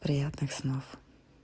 приятных снов